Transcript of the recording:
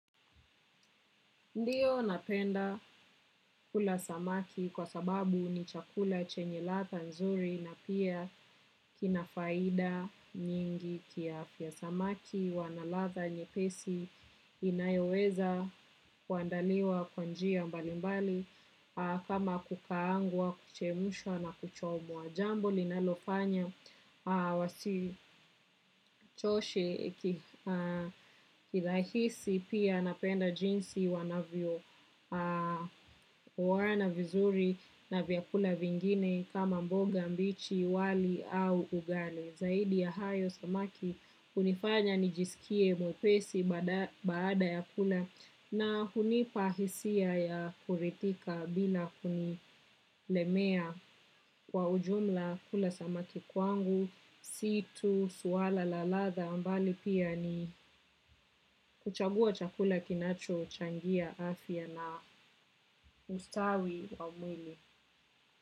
Ndiyo napenda kula samaki kwa sababu ni chakula chenye ladha nzuri na pia ina faida nyingi kiafya samaki wanaladha nyepesi inayoweza kuandaliwa kwanjia mbali mbali kama kukaangwa kuchemshwa na kuchomwa. Jambo linalofanya wasichoshe nirahisi pia napenda jinsi wanavyo oana vizuri na vyakula vingine kama mboga mbichi wali au ugali. Zaidi ya hayo samaki hunifanya nijisikie mwepesi baada ya kula na hunipahisia ya kuridhika bila kunilemea kwa ujumla kula samaki kwangu, si tu, swala, la ladha, mbali pia ni kuchagua chakula kinacho changia afya na ustawi wa mwili.